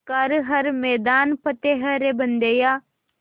कर हर मैदान फ़तेह रे बंदेया